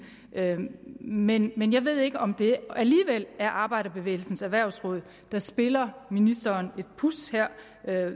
men jeg ved ikke om det alligevel er arbejderbevægelsens erhvervsråd der spiller ministeren et puds her